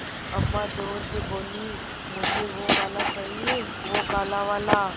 अम्मा ज़ोर से बोलीं मुझे वो वाला चाहिए वो काला वाला